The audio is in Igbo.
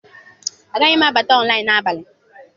Agaghị m abata ọnlaịn n'abalị a.